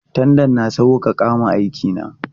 Tandan na sauƙaƙa wa aiki na.